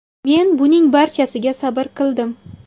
Men buning barchasiga sabr qildim.